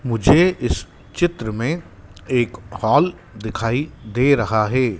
मुझे इस चित्र में एक हॉल दिखाई दे रहा है।